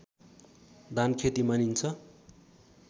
धानखेती मानिन्छ